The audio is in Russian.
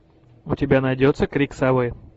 у тебя найдется крик совы